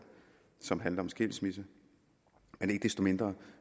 som handler om skilsmisse men ikke desto mindre